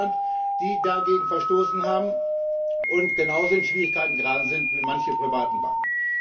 in Deutschland, die dagegen verstoßen haben und genauso in Schwierigkeiten geraten sind wie manche privaten Banken.